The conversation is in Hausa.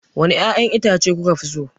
Wane ƴaƴan itace kuka fi so?